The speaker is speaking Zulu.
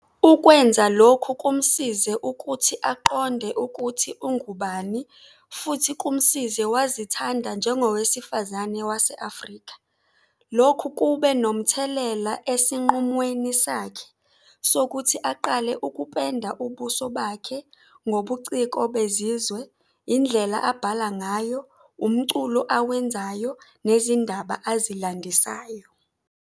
Ukwenza lokhu kumsize ukuthi aqonde ukuthi ungubani futhi kumsize wazithanda njengowesifazane wase-Afrika. Lokhu kube nomthelela esinqumweni sakhe sokuthi aqale ukupenda ubuso bakhe ngobuciko bezizwe, indlela abhala ngayo, umculo awenzayo nezindaba azilandisayo.